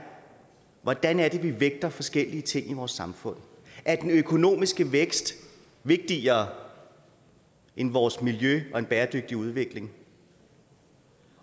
hvordan vi vægter forskellige ting i vores samfund er den økonomiske vækst vigtigere end vores miljø og en bæredygtig udvikling